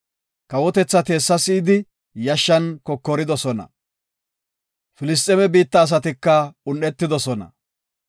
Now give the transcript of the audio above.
Kawotethati hessa si7idi yashshan kokoridosona. Filisxeeme biitta asatika un7etidosona.